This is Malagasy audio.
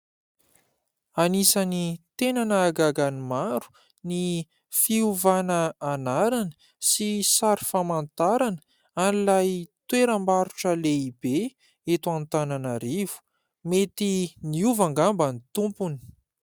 Anisany tena nahagaga ny maro ny fiovana anarana sy sary famantarana an'ilay toeram-barotra lehibe eto Antananarivo, mety niova angamba ny tompony.